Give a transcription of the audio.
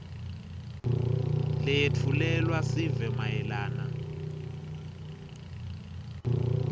leyetfulelwa sive mayelana